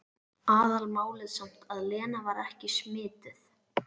Aðalmálið samt að Lena var ekki smituð.